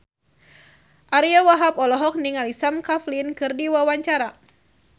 Ariyo Wahab olohok ningali Sam Claflin keur diwawancara